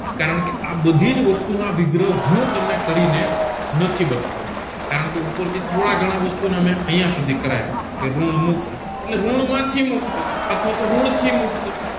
કારણકે આ બધીજ વસ્તુ ના વિગ્રહ હું તમને કરીને નથી બતાવાનો અત્યારે કારણકે ઉપરથી થોડા ઘણા વસ્તુના અહિયાં સુધી કરાય વા કે રન મુક્ત એટલે રન માંથી મુક્ત અથવા રન થી મુક્ત